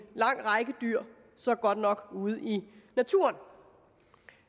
lang række dyr som godt nok er ude i naturen